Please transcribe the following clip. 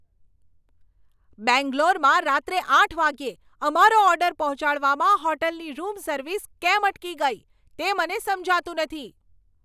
બેંગ્લોરમાં રાત્રે આઠ વાગ્યે અમારો ઓર્ડર પહોંચાડવામાં હોટેલની રૂમ સર્વિસ કેમ અટકી ગઈ, તે મને સમજાતું નથી.